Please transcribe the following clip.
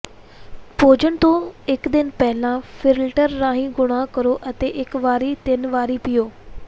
ਭੋਜਨ ਤੋਂ ਇਕ ਦਿਨ ਪਹਿਲਾਂ ਫਿਲਟਰ ਰਾਹੀਂ ਗੁਣਾ ਕਰੋ ਅਤੇ ਇਕ ਵਾਰੀ ਤਿੰਨ ਵਾਰੀ ਪੀਓ